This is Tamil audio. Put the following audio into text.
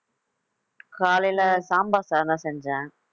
காலையில சாம்பார் சாதம் செஞ்சேன்